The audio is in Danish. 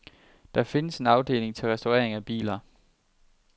Der findes en afdeling til restaurering af biler.